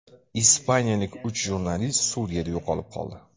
Ispaniyalik uch jurnalist Suriyada yo‘qolib qoldi .